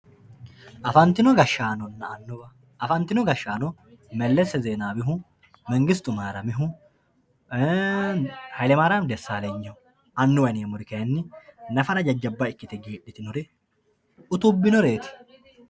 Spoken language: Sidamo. afantino gashshaannonna annuwa afantino gashshaano mellesse zeenaawihu mengistu maariyamihu, hayilemayirami daessaalenyiho annuwa yineemmori kayiinni nafara jajjabba ikkite geedhitinore utubbinoreeti.